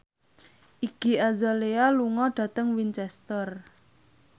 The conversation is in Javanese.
Iggy Azalea lunga dhateng Winchester